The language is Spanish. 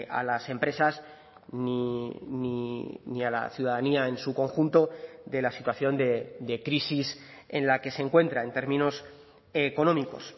a las empresas ni a la ciudadanía en su conjunto de la situación de crisis en la que se encuentra en términos económicos